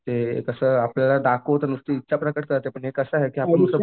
ते कसं आपल्याला दाखवतं नुसती इच्छा प्रकट करतं पण हे कसं आहे की